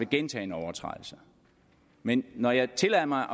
gentagne overtrædelser men når jeg tillader mig